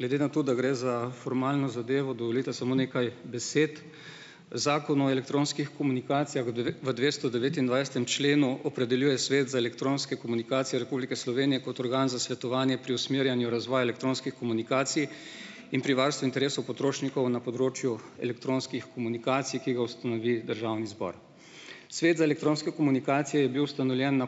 Glede na to, da gre za formalno zadevo, dovolite samo nekaj besed. Zakon o elektronskih komunikacijah v v dvestodevetindvajsetem členu opredeljuje Svet za elektronske komunikacije Republike Slovenije kot organ za svetovanje pri usmerjanju razvoja elektronskih komunikacij in pri varstvu interesov potrošnikov na področju elektronskih komunikacij, ki ga ustanovi državni zbor. Svet za elektronsko komunikacijo je bil ustanovljen na